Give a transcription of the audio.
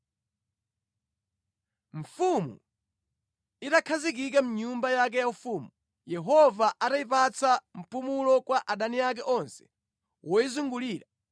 Mfumu itakhazikika mʼnyumba yake yaufumu, Yehova atayipatsa mpumulo kwa adani ake onse woyizungulira,